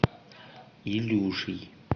илюшей